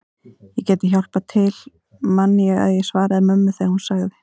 Ég gæti hjálpað til man ég að ég svaraði mömmu þegar hún sagði